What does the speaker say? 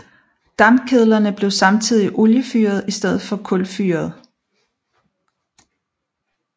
Dampkedlerne blev samtidig oliefyrede i stedet for kulfyrede